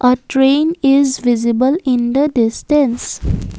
a train is visible in the distance.